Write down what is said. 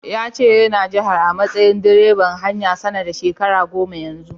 Ya ce yana jihar a matsayin direban haya, sana da shekara goma Yanzu.